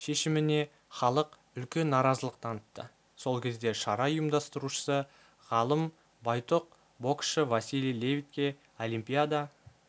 шешіміне іалық үлкен наразылық танытты сол кезде шара ұйымдастырушысы ғалым байтұқ боксшы василий левитке олимпиада